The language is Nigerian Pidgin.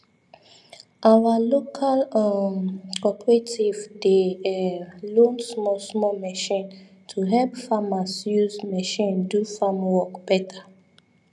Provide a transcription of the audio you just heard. our local um cooperative dey um loan small small machine to help farmer use machine do farm work better